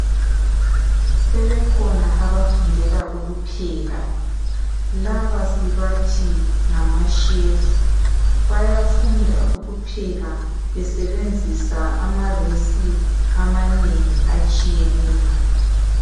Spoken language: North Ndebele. Sebekhona abafundela ukupheka laba sibathi ngama chef bayafunda ukupheka besebenzisa ama recipe amanengi atshiyeneyo.